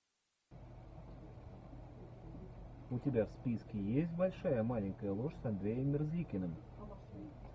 у тебя в списке есть большая маленькая ложь с андреем мерзликиным